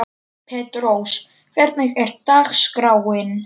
Petrós, hvernig er dagskráin?